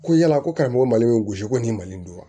Ko yala ko karamɔgɔ mali bɛ gosi ko nin mali don wa